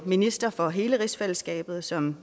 minister for hele rigsfællesskabet som